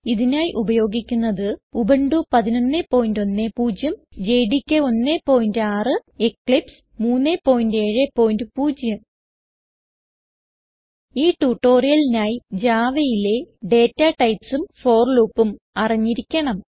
ഇതിനായി ഉപയോഗിക്കുന്നത് Ubuntu 1110 JDK 16 Eclipse 370 ഈ ട്യൂട്ടോറിയലിനായി Javaയിലെ ഡാറ്റ typesഉം ഫോർ loopഉം അറിഞ്ഞിരിക്കണം